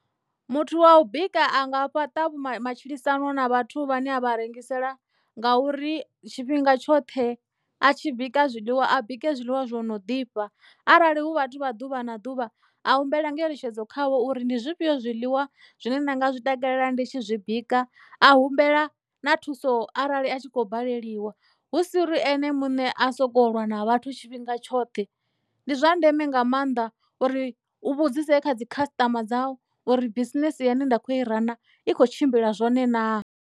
Muthu wa u bika a nga fhaṱa vhu matshilisano na vhathu vha ne a vha rengisela nga uri tshifhinga tshoṱhe a tshi bika zwiḽiwa a bike zwiḽiwa zwo no ḓifha arali hu vhathu vha ḓuvha na ḓuvha a humbela ngeletshedzo khavho uri ndi zwifhio zwiḽiwa zwine nda nga zwi takalela ndi tshi zwi bika a humbela na thuso arali a tshi khou baleliwa hu si uri ene muṋe a soko lwa na vhathu tshifhinga tshoṱhe ndi zwa ndeme nga maanḓa uri u vhudzise kha dzikhasitama dzau uri bisinese ine nda kho i rana i kho tshimbila zwone naa.